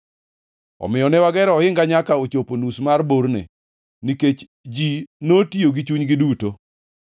Omiyo ne wagero ohinga nyaka ne ochopo nus mar borne, nikech ji notiyo gi chunygi duto.